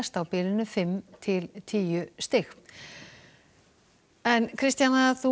á bilinu fimm til tíu stig Kristjana